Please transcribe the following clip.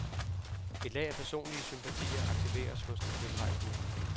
Et lag af personlige sympatier aktiveres hos den tilrejsende.